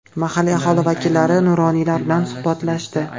Mahalliy aholi vakillari, nuroniylar bilan suhbatlashdi.